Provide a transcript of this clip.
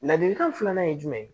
Ladilikan filanan ye jumɛn ye